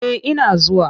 Eh ina zuwa.